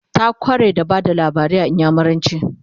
ta kware a Bada labarai da inyamuranci